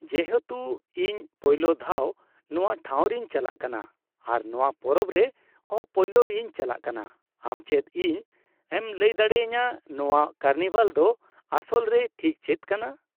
ᱡᱮᱦᱮᱛᱩ, ᱤᱧ ᱯᱳᱭᱞᱳ ᱫᱷᱟᱣ ᱱᱚᱶᱟ ᱴᱷᱟᱶ ᱨᱤᱧ ᱪᱟᱞᱟᱜ ᱠᱟᱱᱟ ᱟᱨ ᱱᱚᱶᱟ ᱯᱚᱨᱚᱵᱽ ᱨᱮ ᱦᱚ ᱯᱳᱭᱞᱳ ᱤᱧ ᱪᱟᱞᱟᱜ ᱠᱟᱱᱟ, ᱟᱢ ᱪᱮᱫ ᱤᱧ ᱮᱢ ᱞᱟᱹᱭ ᱫᱟᱲᱮ ᱟᱹᱧᱟᱹ ᱱᱚᱶᱟ ᱠᱟᱨᱱᱤᱵᱷᱟᱞ ᱫᱚ ᱟᱥᱚᱞ ᱨᱮ ᱴᱷᱤᱠ ᱪᱮᱫ ᱠᱟᱱᱟ ?